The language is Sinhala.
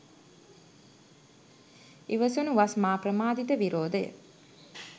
ඉවසනු වස් මා ප්‍රමාදිත විරෝධය